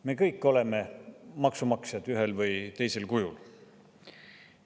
Me kõik oleme maksumaksjad ühel või teisel kujul.